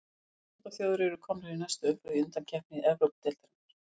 Fimm norðurlandaþjóðir eru komnar í næstu umferð undankeppni Evrópudeildarinnar.